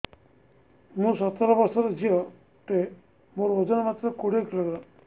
ମୁଁ ସତର ବର୍ଷ ଝିଅ ଟେ ମୋର ଓଜନ ମାତ୍ର କୋଡ଼ିଏ କିଲୋଗ୍ରାମ